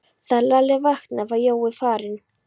Þegar Lalli vaknaði var Jói farinn.